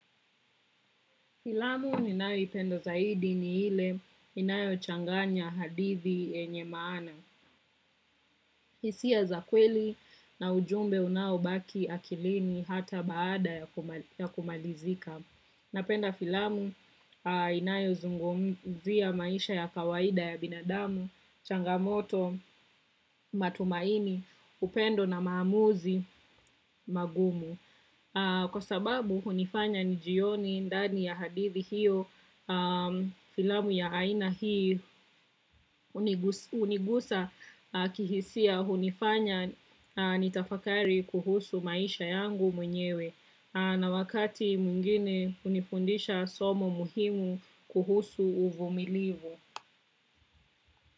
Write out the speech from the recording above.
Filamu ninayo ipenda zaidi ni ile inayo changanya hadithi yenye maana. Hisia za kweli na ujumbe unao baki akilini hata baada ya kumalizika. Napenda filamu inayo zungumzia maisha ya kawaida ya binadamu, changamoto, matumaini, upendo na maamuzi magumu. Kwa sababu hunifanya nijioni ndani ya hadithi hiyo filamu ya aina hii unigusa kihisia unifanya nitafakari kuhusu maisha yangu mwenyewe na wakati mwingine hunifundisha somo muhimu kuhusu uvumilivu.